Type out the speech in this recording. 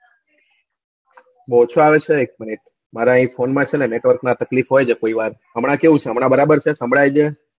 બઉ ઓછું આવે છે એક minute મારા એક ફોન માં છે network માં તકલીફ હોય છે કોઈવાર હમણાં કેવું છે હમણાં બરાબર છે સંભળાય છે